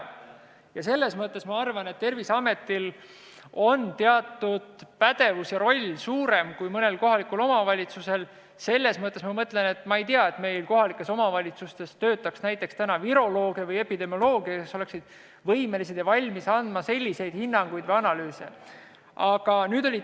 Ma arvan, et selles mõttes on Terviseameti pädevus ja roll suurem kui mõnel kohalikul omavalitsusel – ma ei tea, et meil kohalikes omavalitsustes töötaks täna näiteks virolooge või epidemiolooge, kes oleksid võimelised ja valmis andma selliseid hinnanguid või tegema analüüse.